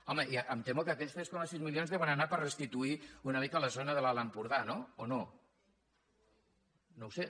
home em temo que aquells tres coma sis milions deuen anar per restituir una mica la zona de l’alt empordà no o no no ho sé